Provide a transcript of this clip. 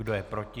Kdo je proti?